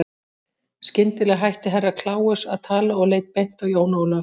Skyndilega hætti Herra Kláus að tala og leit beint á Jón Ólaf.